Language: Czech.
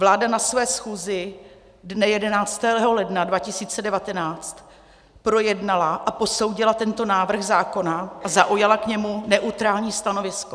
Vláda na své schůzi dne 11. ledna 2019 projednala a posoudila tento návrh zákona a zaujala k němu neutrální stanovisko.